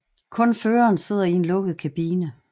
Kun føreren sidder i en lukket kabine